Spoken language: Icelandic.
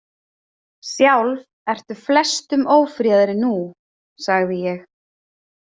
Sjálf ertu flestum ófríðari nú, sagði ég.